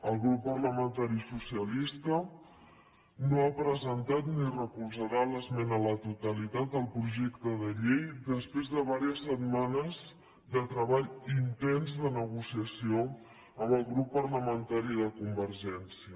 el grup parlamentari socialista no ha presentat ni recolzarà l’esmena a la totalitat al projecte de llei després de diverses setmanes de treball intens de negociació amb el grup parlamentari de convergència